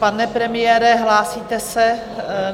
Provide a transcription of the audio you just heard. Pane premiére, hlásíte se?